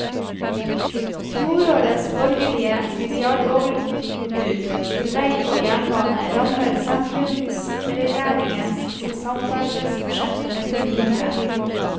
Fjorårets borgerlige milliardoverbud til vei og jernbane rammer sentrumsregjeringens samferdselsbudsjett med full tyngde.